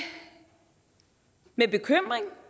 med bekymring